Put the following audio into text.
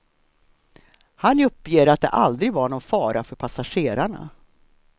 Han uppger att det aldrig var någon fara för passagerarna.